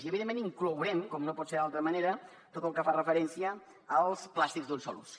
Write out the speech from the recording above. i evidentment hi inclourem com no pot ser d’altra manera tot el que fa referència als plàstics d’un sol ús